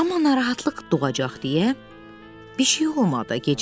Amma narahatlıq doğacaq deyə bir şey olmadı.